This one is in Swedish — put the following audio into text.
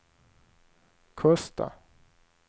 Kosta